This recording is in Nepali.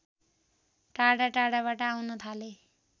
टाढा टाढाबाट आउन थाले